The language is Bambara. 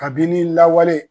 Kabini lawale.